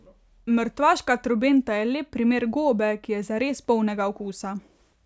Mrtvaška trobenta je lep primer gobe, ki je zares polnega okusa.